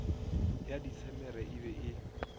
ya disemere e be e